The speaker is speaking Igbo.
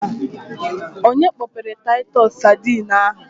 Onye kpọpere taitus sadine ahụ?